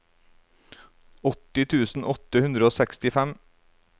åtti tusen åtte hundre og sekstifem